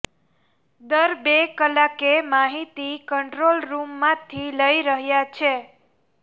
દર બે કલાકે માહિતી કંટ્રોલ રૃમમાંથી લઈ રહ્યાં છે